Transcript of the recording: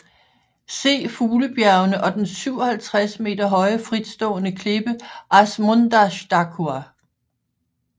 Se fuglebjergene og den 57 m høje fritstående klippe Ásmundarstakkur